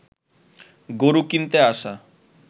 গরু কিনতে আসা